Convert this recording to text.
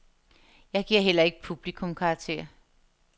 Jeg giver heller ikke publikum karakter.